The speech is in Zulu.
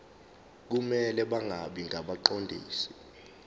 kumele bangabi ngabaqondisi